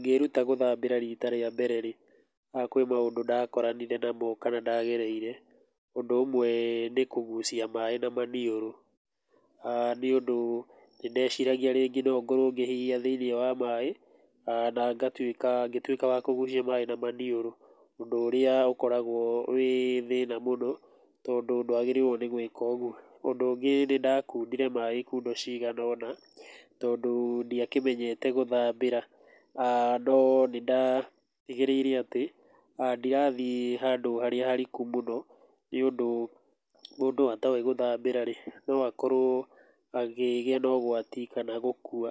Ngĩĩruta gũthambĩra rita rĩa mbere-rĩ, kwĩ maũndũ ndakoranire namo kana ndagereire. Ũndũ ũmwe nĩ kũgũcia maĩ na maniũrũ, nĩ ũndũ nĩ ndeciragia rĩngĩ nongorwo ngĩhihia ndĩ thĩiniĩ wa maĩ, na ngĩtuĩka wa kũgũcia maĩ na maniũrũ, ũndũ ũrĩa ũkoragwo wĩ thĩna mũno, tondũ ndwagĩrĩirwo gũĩka ũguo. Ũndũ ũngĩ nĩ ndakundire maĩ ikundo cigana-ona tondũ ndiakenyete gũthambĩra. No nĩ ndatigĩrĩire atĩ, ndirathiĩ handũ harĩa hariku mũno nĩ ũndũ mũndũ atoĩ gũthambĩra-rĩ, no akorwo akĩgĩa na ũgwati, kana gũkua